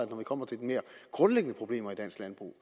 når vi kommer til de mere grundlæggende problemer i dansk landbrug